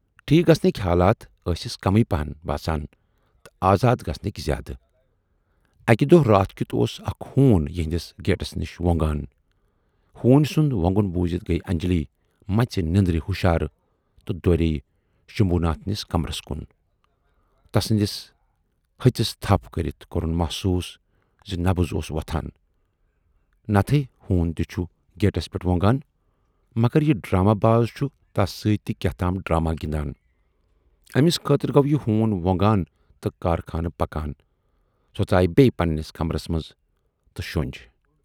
ٹھیٖک گَژھنٕکۍ حالات ٲسِس کمٕے پہن باسان تہٕ آزاد گژھنٕکۍ زیادٕ۔ اَکہِ دۅہ راتھ کیُتھ اوس اکھ ہوٗن یِہٕندِس گیٹس نِش ووٗنگان۔ ہوٗنۍ سُند وۅنگُن بوٗزِتھ گٔیہِ انجلی مَژِ نٮ۪ندرِ ہُشار تہٕ دورییہِ شمبھوٗ ناتھنِس کمرس کُن۔ تسٕندِس ۂژِس تھپھ کٔرِتھ کورُن محسوٗس زِ نبض اوس وۅتھان۔ نتہٕ ہے ہوٗن تہِ چھُ گیٹِس پٮ۪ٹھ ووٗنگان، مگر یہِ ڈراما باز چھُ تس سٍتۍ تہِ کیاہتام ڈراما گِندان۔ ٲمِس خٲطرٕ گَو یہِ ہوٗن ووٗنگان تہٕ کارخانہٕ پکان۔ سۅ ژایہِ بییہِ پننِس کمرس منز تہٕ شۅنج۔